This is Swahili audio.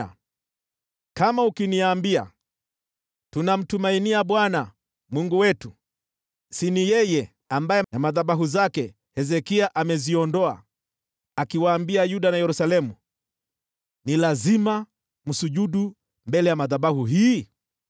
Nawe kama ukiniambia, “Tunamtumainia Bwana Mungu wetu”: je, siyo yeye ambaye Hezekia aliondoa mahali pake pa juu pa kuabudia miungu na madhabahu zake, akiwaambia Yuda na Yerusalemu, “Ni lazima mwabudu mbele ya madhabahu haya”?